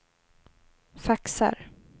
faxar